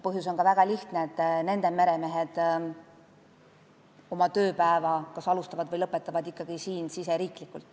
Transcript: Põhjus on väga lihtne: nende meremehed kas alustavad või lõpetavad oma tööpäeva ikkagi siin, meie riigis.